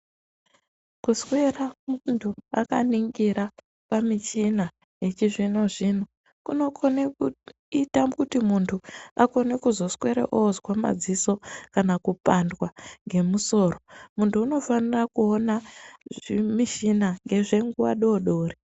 Kuswera muntu akaningira pamichina yechizvino-zvino kunokone kuita kuti muntu akone kuzoswere ozwa madziso kana kuzopandwa ngemusoro. Munthu unofanira kuona zvimushina ngezvenguwa dodori.